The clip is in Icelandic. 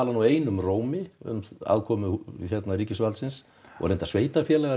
nú einum rómi um aðkomu ríkisvaldsins og reyndar sveitarfélaga